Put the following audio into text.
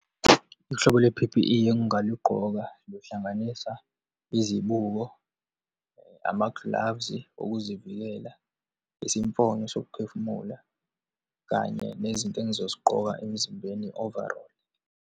Uhlobo lwe-P_P_E engingalugqoka luhlanganisa, izibuko, ama-gloves-i okuzivikela, isimfonyo sokuphefumula, kanye nezinto engizozigqoka emzimbeni, i-overall.